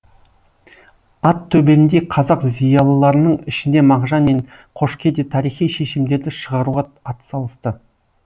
ат төбеліндей қазақ зиялыларының ішінде мағжан мен қошке де тарихи шешімдерді шығаруға атсалысты